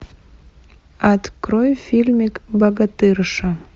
открой фильмик богатырша